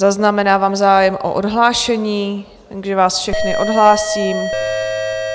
Zaznamenávám zájem o odhlášení, takže vás všechny odhlásím.